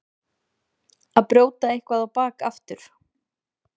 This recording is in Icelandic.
Að brjóta eitthvað á bak aftur